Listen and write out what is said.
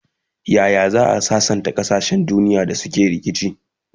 Yaya za'a sassanta kasashen duniya da suke rikici?